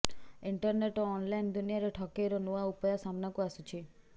internet ଓ online ଦୁନିଆରେ ଠକେଇର ନୂଆ ନୂଆ ଉପାୟ ସାମନାକୁ ଆସୁଛି